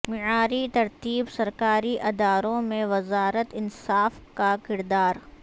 معیاری ترتیب سرکاری اداروں میں وزارت انصاف کا کردار